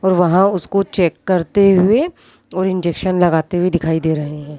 और वहां उसको चेक करते हुए और इंजेक्शन लगाते हुए दिखाई दे रहे है।